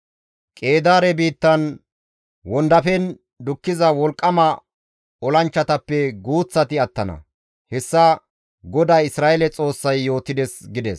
Qeedaare biittan wondafen dukkiza wolqqama olanchchatappe guuththati attana; hessa GODAA Isra7eele Xoossay yootides» gides.